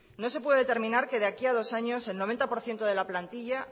no se puede determinar que de aquí a dos años el noventa por ciento de la plantilla